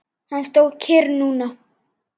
Hann stóð kyrr núna.